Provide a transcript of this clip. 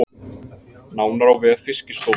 Nánar á vef Fiskistofu